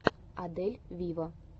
адель виво